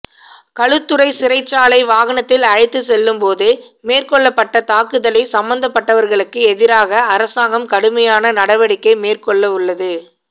களுத்துறை சிறைச்சாலை வாகனத்தில் அழைத்துச் செல்லும் போது மேற்கொள்ளப்பட்ட தாக்குதலை சம்பந்தப்பட்டவர்களுக்கு எதிராக அரசாங்கம் கடுமையான நடவடிக்கை மேற்கொள்ளவுள்ளது